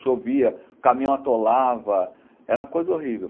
Chovia, o caminhão atolava, era uma coisa horrível.